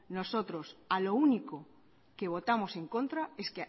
nosotros a lo único que votamos en contra es